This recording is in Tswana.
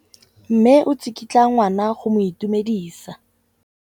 Mme o tsikitla ngwana go mo itumedisa.